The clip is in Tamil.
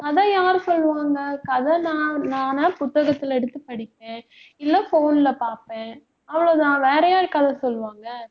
கதை யாரு சொல்லுவாங்க, கதை நான் நானா புத்தகத்துல எடுத்து படிப்பேன் இல்லை phone ல பார்ப்பேன். அவ்வளவுதான். வேற யாரு கதை சொல்லுவாங்க